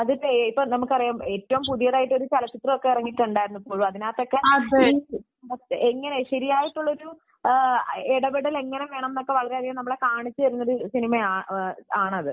ഇപ്പം നമുക്കറിയാം . ഏറ്റവും പുതിയതായിട്ട് ഒരു ചലച്ചിത്രം ഇറങ്ങിയിട്ടുണ്ടായിരുന്നു . അതിനകത്തൊക്കെ ശരിയായിട്ടില്ല ഇടപെടലൊക്കെ എങ്ങനെ വേണമെന്ന് നമ്മളെ കാണിച്ചുതരുന്ന ഒരു സിനിമ ആണത്